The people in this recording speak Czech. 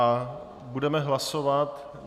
A budeme hlasovat.